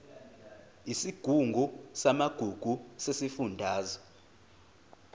isigungu samagugu sesifundazwe